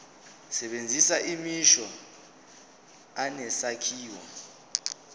sebenzisa imisho enesakhiwo